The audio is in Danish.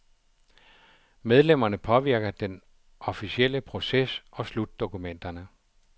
Medlemmerne påvirker den officielle proces og slutdokumenterne.